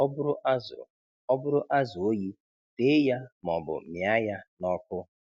Ọ bụrụ azụ Ọ bụrụ azụ oyi, tee ya maọbụ mịá ya n’ọkụ.